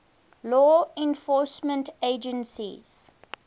law enforcement agencies